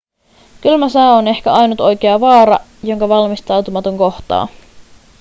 kylmä sää on ehkä ainut oikea vaara jonka valmistautumaton kohtaa